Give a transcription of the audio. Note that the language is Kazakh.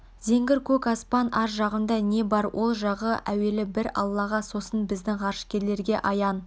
зеңгір көк аспан ар жағында не бар ол жағы әуелі бір аллаға сосын біздің ғарышкерлерге аян